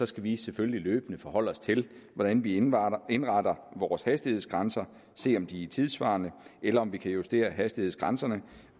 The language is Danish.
skal vi selvfølgelig løbende forholde os til hvordan vi indretter indretter vores hastighedsgrænser se om de er tidssvarende eller om vi kan justere hastighedsgrænserne